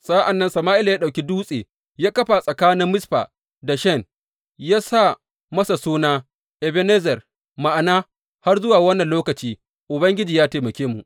Sa’an nan Sama’ila ya ɗauki dutse ya kafa tsakanin Mizfa da Shen, ya sa masa suna, Ebenezer ma’ana, Har zuwa wannan lokaci Ubangiji ya taimake mu.